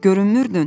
Görünmürdün?